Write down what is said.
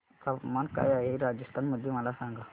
तापमान काय आहे राजस्थान मध्ये मला सांगा